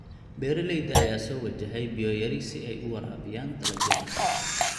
Beeraleyda ayaa soo wajahday biyo yari si ay u waraabiyaan dalagyada.